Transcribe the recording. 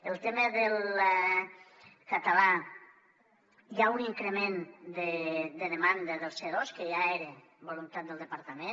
el tema del català hi ha un increment de demanda del c2 que ja era voluntat del departament